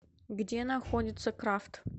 где находится крафт